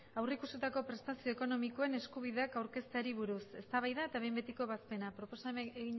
aurreikusitako prestazio ekonomikoen eskabideak aurkezteari buruz eztabaida eta behin betiko ebazpena